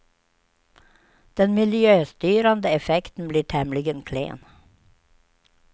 Den miljöstyrande effekten blir tämligen klen.